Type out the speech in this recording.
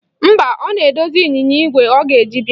Mba, ọ na-edozi ịnyịnya igwe ọ ga-eji bịa.